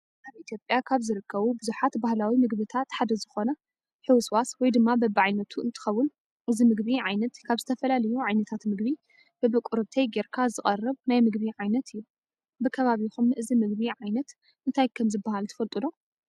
ኣብ ኢትዮጵያ ካብ ዝርከቡ ብዙሓት ባህላዊ ምግብታት ሓደ ዝኾነ ሕውስዋስ (በቢዓይነቱ) እንትኾውን እዚ ምግቢ ዓይነት ካብ ዝተፈላለዩ ዓይነታት ምግቢ በብቁርብተይ ገይርካ ዝቐርብ ናይ ምግቢ ዓይነት እዩ። ብከቢብኹም እዚምግቢ ዓይነት እንታይ ከም ዝበሃል ትፈልጡ ዶ?